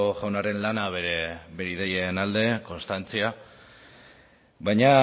jaunaren lana bere ideien alde konstantzia baina